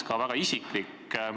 – ka väga isiklik.